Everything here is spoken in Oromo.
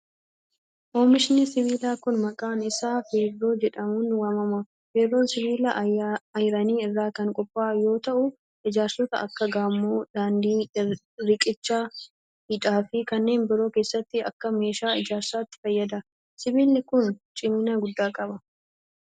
Oomishni sibiilaa kun, maqaan isaa feerroo jedhamuun waamama. Feerroon sibiila ayiranii irraa kan qophaa'uu yoo ta'u, ijaarsota akka : gamoo, daandii ,riqicha , hidha fi kanneen biroo keessatti akka meeshaa ijaarsaatti fayyada. Sibiilli kun, cimina guddaa qaba.